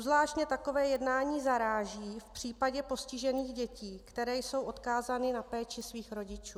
Obzvláště takové jednání zaráží v případě postižených dětí, které jsou odkázány na péči svých rodičů.